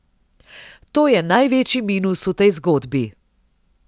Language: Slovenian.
To je največji minus v tej zgodbi.